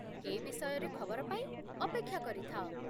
ଏ ବିଷୟରେ ଖବର ପାଇଁ ଅପେକ୍ଷା କରିଥାଅ ।